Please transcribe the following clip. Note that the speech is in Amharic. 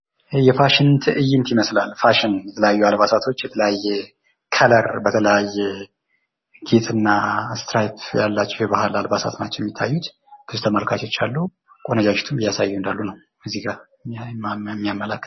የፋሽን ት እይንት ይመስላል። የተለያዩ አልባሳቶች፣ የተለያየ ቀለም ያላቸው፣ የተለያየ ጌጥና እስትሪፕ ያላቸው የባህል አልባሳቶች ናቸው ያሉት ። ብዙ ተመልካቾች ይታያሉ። ቆነጃጂቶችም እያሳዩ ይገኛሉ።